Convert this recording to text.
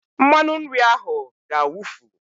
Mmanụnri ahụ ga-awufu